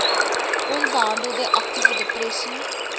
onbehandelde aktiewe depressie